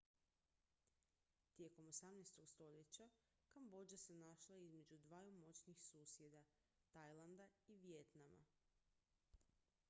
tijekom 18. stoljeća kambodža se našla između dvaju moćnih susjeda tajlanda i vijetnama